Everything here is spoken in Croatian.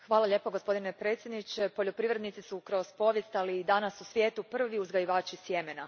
Gospodine predsjedniče, poljoprivrednici su kroz povijest, ali i danas u svijetu, prvi uzgajivači sjemena.